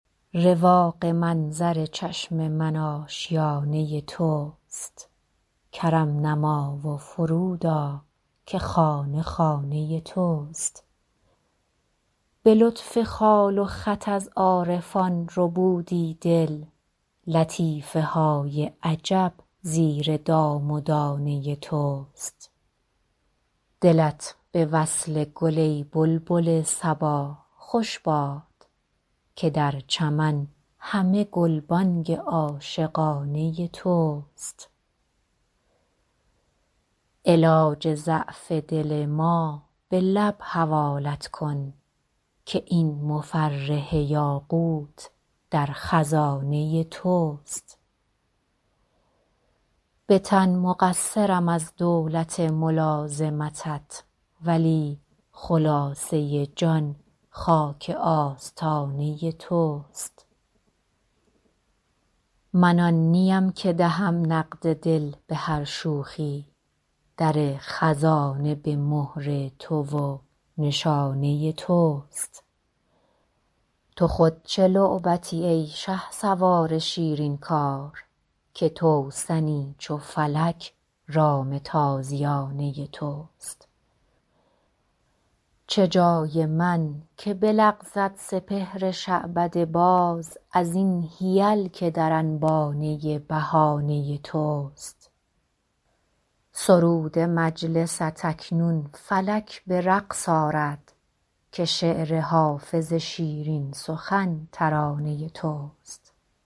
رواق منظر چشم من آشیانه توست کرم نما و فرود آ که خانه خانه توست به لطف خال و خط از عارفان ربودی دل لطیفه های عجب زیر دام و دانه توست دلت به وصل گل ای بلبل صبا خوش باد که در چمن همه گلبانگ عاشقانه توست علاج ضعف دل ما به لب حوالت کن که این مفرح یاقوت در خزانه توست به تن مقصرم از دولت ملازمتت ولی خلاصه جان خاک آستانه توست من آن نیم که دهم نقد دل به هر شوخی در خزانه به مهر تو و نشانه توست تو خود چه لعبتی ای شهسوار شیرین کار که توسنی چو فلک رام تازیانه توست چه جای من که بلغزد سپهر شعبده باز از این حیل که در انبانه بهانه توست سرود مجلست اکنون فلک به رقص آرد که شعر حافظ شیرین سخن ترانه توست